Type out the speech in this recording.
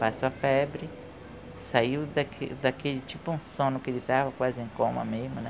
Passou a febre, saiu daque daquele tipo um sono que ele estava quase em coma mesmo, né?